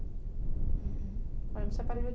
uhum. Aí me separei em